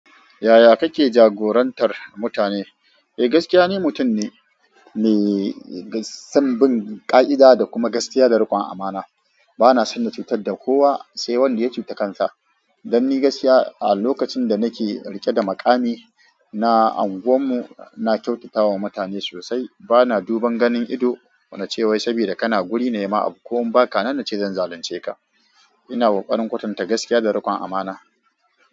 Yaya kake jagorantar mutane? Eh, gaskiya ni, mutum ne mai son bin ƙa'ida da kuma gaskiya da riƙon amana. Bana son na cutar da kowa, sai wanda ya cuta kansa. Don ni gaskiya, a lokacin da nake riƙe da maƙami na unguwar mu, na kyautata wa mutane sosai. Bana duban ganin ido na cewa saboda kana guri na ma ko in baka nan nace zan zalunce ka. Ina kokarin kwatanta gaskiya da riƙon amana.